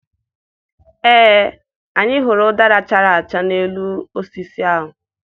Ee, anyị hụrụ ụdara chara acha n'elu osisi ahụ.